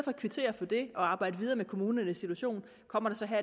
at kvittere for det og arbejde videre med kommunernes situation kommer der så her